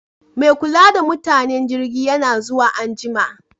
Me kula da mutanen jirgin yana zuwa anjima